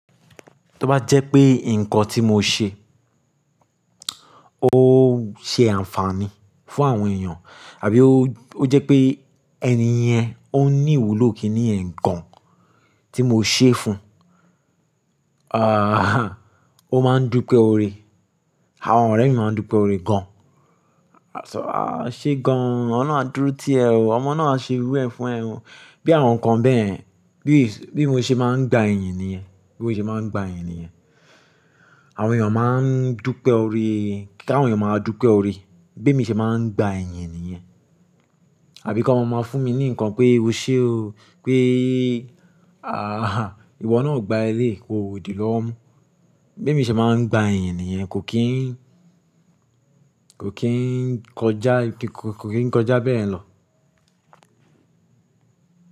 To bá jẹ́ pé nǹkan tí mo ṣe, ó ṣe àǹfààní fún àwọn èèyàn àbí ó jẹ́ pé ẹni yẹn ó ní ìwúlò kíni yen gan tí mo ṣe fún un, O máa ń dúpẹ́ ore, àwọn ọ̀rẹ́ mi máa ń dúpẹ́ ore gan. A ṣọ ah! E ṣe gan oh, ọ̀lorun a dúró ti ẹ̀ o, ọmọ náà a ṣe'rú ẹ fún ẹ o. Bí àwọn nǹkan bẹ́yẹ̀n, bí mo ṣe máa ń gba iyìn nìyẹn, bí mo ṣe máa ń gba iyìn nìyẹn. Àwọn èèyàn máa ń dúpẹ́ ore, kí àwọn èèyàn máa dúpẹ́ ore b'emi ṣe máa ń gba iyìn nìyẹn. Àbí kí wọ́n máa fún mi ní nǹkan pé o ṣe o, pé ìwọ náà gba eléyii koo dì lọ́wo mú. Be mi ṣe máa ń gba iyìn nìyẹn kò kín kò kín kọjá, kò kín kọjá bẹ́yẹ̀n lọ.